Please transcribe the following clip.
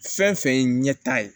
Fɛn fɛn ye ɲɛta ye